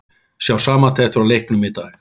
Sjá samantekt frá leiknum í dag